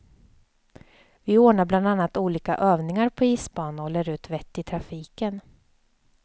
Vi ordnar bland annat olika övningar på isbana och lär ut vett i trafiken.